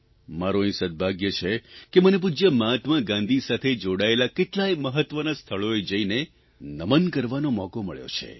મારૂં અહીં સદભાગ્ય છે કે મને પૂજય મહાત્મા ગાંધી સાથે જોડાયેલા કેટલાય મહત્વના સ્થળોએ જઇને નમન કરવાનો મોકો મળ્યો છે